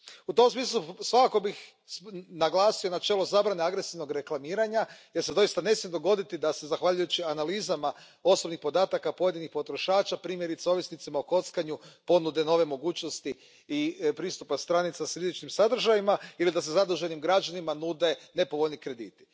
U tom smislu svakako bih naglasio načelo zabrane agresivnog reklamiranja jer se doista ne smije dogoditi da se zahvaljujući analizama osobnih podataka pojedinih potrošača, primjerice ovisnicima o kockanju, ponude nove mogućnosti pristupa stranicama sa sličnim sadržajima ili da se zaduženim građanima nude nepovoljni krediti.